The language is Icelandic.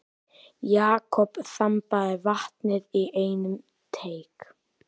Jakob þambaði vatnið í einum teyg.